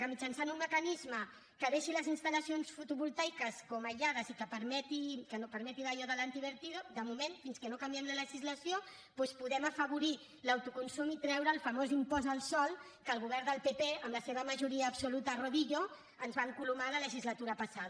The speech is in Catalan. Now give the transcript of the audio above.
que mitjançant un mecanisme que deixi les instal·lacions fotovoltaiques com aïllades i que no permeti allò de l’lació doncs podem afavorir l’autoconsum i treure el famós impost al sòl que el govern del pp amb la seva majoria absoluta a rodillo ens va encolomar la legislatura passada